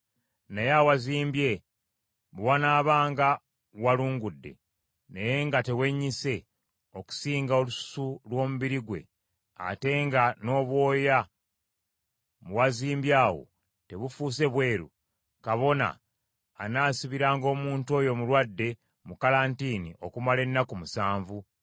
Naye awazimbye bwe wanaabanga walungudde, naye nga tewennyise okusinga olususu lw’omubiri gwe, ate nga n’obwoya mu wazimbye awo tebufuuse bweru, kabona anaasibiranga omuntu oyo omulwadde mu kalantiini okumala ennaku musanvu.